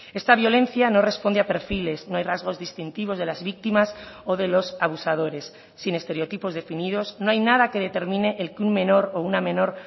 esta violencia no responde a perfiles no hay rasgos distintivos de las víctimas o de los abusadores sin estereotipos definidos no hay nada que determine el que un menor o una menor